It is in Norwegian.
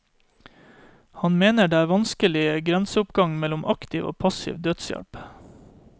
Han mener det er vanskelige grenseoppganger mellom aktiv og passiv dødshjelp.